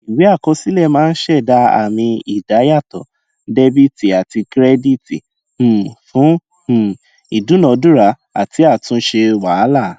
ìwé àkọsílẹ máa ń ṣẹda àmì ìdá yàtò dẹbìtì àti kírẹdìtì um fún um ìdúnadúrà àti àtúnṣe wàhálà